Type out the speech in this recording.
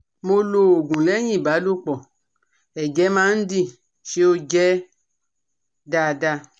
Mo lo oogun, Lẹ́yìn ìbálòpọ̀, ẹ̀jẹ̀ máa ń di, ṣé ó je daada?